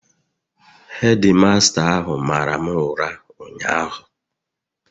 Hedi masta ahụ mara m ụra ụnyahụ